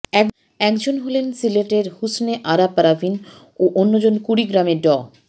একজন হলেন সিলেটের হুসনে আরা পারভীন ও অন্যজন কুড়িগ্রামের ড